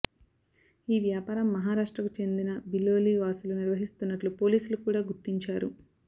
ఈ వ్యాపారం మహా రాష్ట్రకు చెందిన బిలోలి వాసులు నిర్వహిస్తున్నట్లు పోలీ సులు కూడ గుర్తించారు